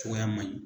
Cogoya man ɲi